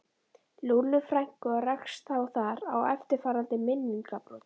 Lúllu frænku og rakst þá þar á eftirfarandi minningabrot